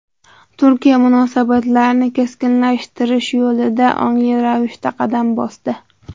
Turkiya munosabatlarni keskinlashtirish yo‘lida ongli ravishda qadam bosdi.